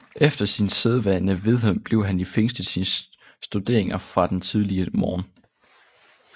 Efter sin sædvane vedblev han i fængselet sine studeringer fra den tidlige morgen